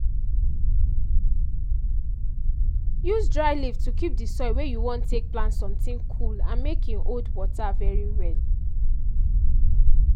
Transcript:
use dry leaf to keep di soil wey you wan take plant sometin cool and make hin hold water very well.